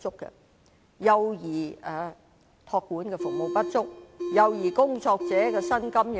幼兒託管的服務不足，幼兒工作者的薪金亦過低。